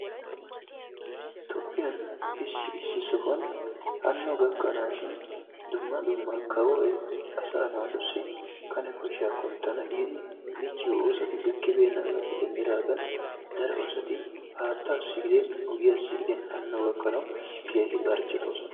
Toophphiyaan issi issi sohuwaan haanno gakkanashin dumma dumma kaawoy asaa naatussi kane koshshaa kunttana giidi micciyoo oosoti gakkibenagappe dendidagaan daro asati haattaassi giidin oogiyaassi giidin haanno gakkanawu keehi barchettoosona.